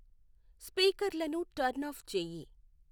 స్పీకర్లను turn off చెయ్యి